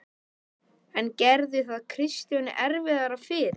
En gerði það Kristjáni erfiðara fyrir?